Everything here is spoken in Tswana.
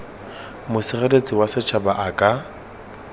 mosireletsi wa setšhaba a ka